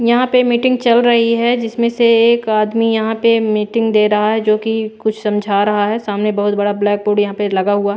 यहाँ पे मीटिंग चल रही है जिसमें से एक आदमी यहाँ पे मीटिंग दे रहा है जो कि कुछ समझा रहा है सामने बहुत बड़ा ब्लैक बोर्ड यहाँ पे लगा हुआ --